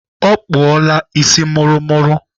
Ọ kpụọla isi mụrụmụrụ.